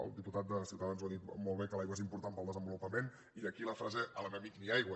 el diputat de ciutadans ho ha dit molt bé l’aigua és important per al desenvolupament i d’aquí la frase a l’enemic ni aigua